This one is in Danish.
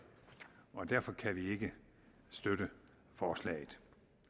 derfor kan vi ikke støtte forslaget